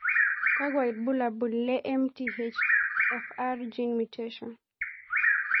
Kakwa ibulabul le MTHFR gene mutation?